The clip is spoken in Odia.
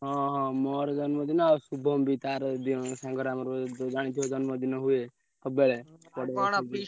ହଁ ହଁ ମୋର ଜନ୍ମଦିନ ଆଉ ଶୁଭମ ବି ତାର ଆଜି ସାଙ୍ଗର ଆମର ଜାଣିଥିବ ଜନ୍ମଦିନ ହୁଏ ସବୁବେଳେ ପଡେ ।